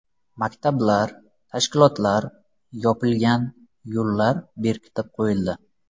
Maktablar, tashkilotlar yopilgan, yo‘llar bekitib qo‘yildi.